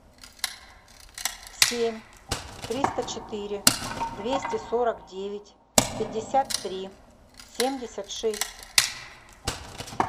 семь триста четыре двести сорок девять пятьдесят три семьдесят шесть